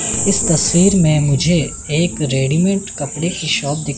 इस तस्वीर में मुझे एक रेडीमेड कपड़े की शॉप दिख--